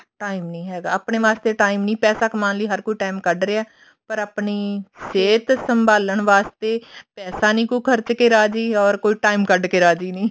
time ਨੀ ਹੈਗਾ ਆਪਣੇ ਵਾਸਤੇ time ਨੀ ਪੈਸਾ ਕਮਾਉਣ ਲਈ ਹਰ ਕੋਈ time ਕੱਡ ਰਿਹਾ ਪਰ ਆਪਣੀ ਸਹਿਤ ਸੰਭਾਲਨ ਵਾਸਤੇ ਪੈਸਾ ਨੀ ਖਰਚ ਕੇ ਰਾਜ਼ੀ or ਕੋਈ time ਕੱਡ ਕੇ ਰਾਜ਼ੀ ਨੀ